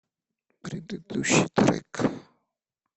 предыдущий трек